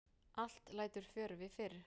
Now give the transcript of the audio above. Allt lætur fjörvi fyrr.